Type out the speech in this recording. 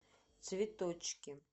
цветочки